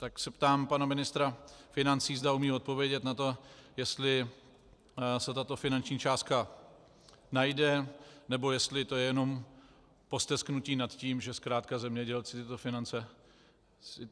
Tak se ptám pana ministra financí, zda umí odpovědět na to, jestli se tato finanční částka najde, nebo jestli je to jenom postesknutí nad tím, že zkrátka zemědělci tyto finance neuvidí.